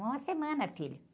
Uma semana, filho.